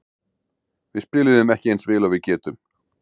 Við spiluðum ekki eins vel og við getum.